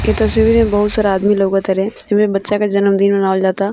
इ तस्वीर में बहुत सारा आदमी लागो ताड़े इमे बच्चा का जन्मदिन मनावल जाता।